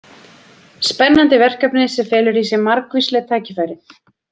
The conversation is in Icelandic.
Spennandi verkefni sem felur í sér margvísleg tækifæri.